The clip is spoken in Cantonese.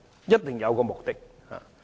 一定有其目的。